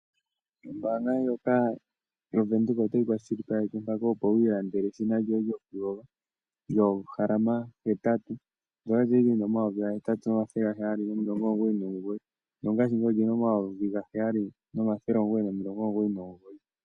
Ombaanga ndjoka yOvenduka otayi kwashilipaleke mpaka opo wiilandele eshina lyoye lyokuyoga lyoohalama hetatu ndyoka lya li lyi na N$8 799 nongashingeyi oli na N$7 999